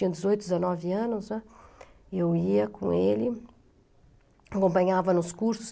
Eu tinha dezoito, dezenove anos, né, eu ia com ele, acompanhava nos cursos.